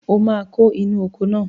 O máa kó inú oko náà